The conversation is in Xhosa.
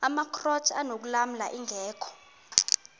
amakrot anokulamla ingeka